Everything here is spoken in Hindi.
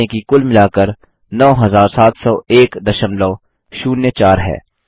ध्यान दें कि कुल मिलाकर 970104 है